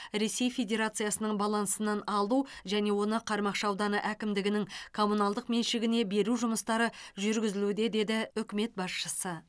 ресей федерациясының балансынан алу және оны қармақшы ауданы әкімдігінің коммуналдық меншігіне беру жұмыстары жүргізілуде деді үкімет басшысы